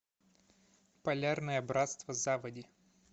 полярное братство заводи